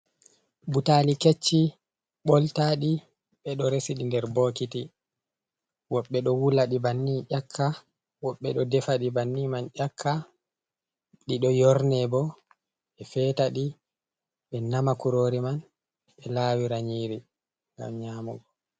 Butali kecci ɓoltaɗi ɓeɗo resiɗi nder bokiti. Woɓɓe ɗo wula ɗi banni ƴakka, woɓɓe ɗo defa ɗi banni man ƴakka, ɗi ɗo yorne bo ɓe fetaɗi, ɓe nama kurori man be lawira nyiri ngam nyamugo.